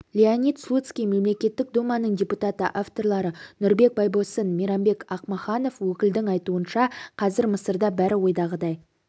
леонид слуцкий мемлекеттік думаның депутаты авторлары нұрбек байбосын мейрамбек ақмаханов өкілдің айтуынша қазір мысырда бәрі ойдағыдай